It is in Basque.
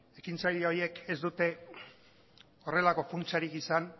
ekintzaile horiek ez dute horrelako funtsarik izan